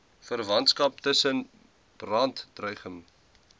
verwantskap tussen brandregime